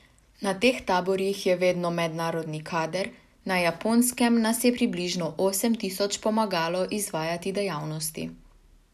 Na teh taborih je vedno mednarodni kader, na Japonskem nas je približno osem tisoč pomagalo izvajati dejavnosti.